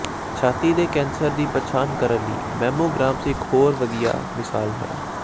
ਛਾਤੀ ਦੇ ਕੈਂਸਰ ਦੀ ਪਛਾਣ ਕਰਨ ਲਈ ਮੈਮੋਗ੍ਰਾਮਸ ਇਕ ਹੋਰ ਵਧੀਆ ਮਿਸਾਲ ਹੈ